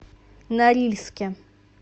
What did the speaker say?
норильске